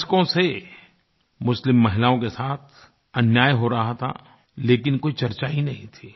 दशकों से मुस्लिम महिलाओं के साथ अन्याय हो रहा था लेकिन कोई चर्चा ही नहीं थी